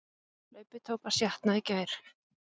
Hlaupið tók að sjatna í gær